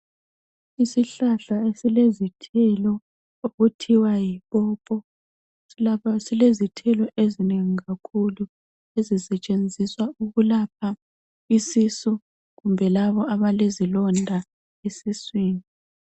Isihlahla esilezithelo okuthiwa yipopo silezithelo ezinengi kakhulu ezisetshenziswa ukulapha isisu kumbe labo abalezilonda esiswini.